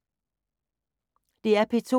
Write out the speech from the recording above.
DR P2